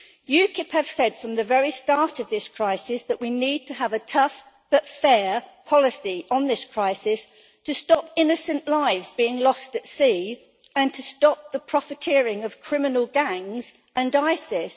UKIP have said from the very start of this crisis that we need to have a tough but fair policy on this crisis to stop innocent lives being lost at sea and to stop the profiteering of criminal gangs and ISIS.